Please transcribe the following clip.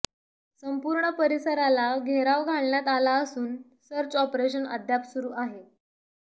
संपूर्ण परिसराला घेराव घालण्यात आला असून सर्च ऑपरेशन अद्याप सुरु आहे